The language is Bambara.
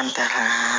An ta